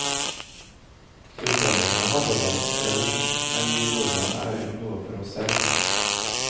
Utlendingene hadde det, javisst, men vi nordmenn er jo noe for oss selv.